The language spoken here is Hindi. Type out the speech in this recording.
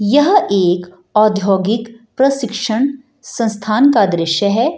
यह एक औधोगिक प्रशिक्षण संस्थान का दृश्य है ।